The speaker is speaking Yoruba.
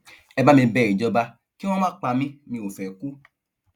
ẹ bá mi bẹ ìjọba kí wọn má pa mí mi ò fẹẹ kú